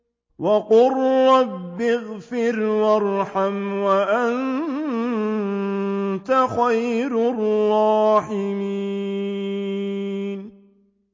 وَقُل رَّبِّ اغْفِرْ وَارْحَمْ وَأَنتَ خَيْرُ الرَّاحِمِينَ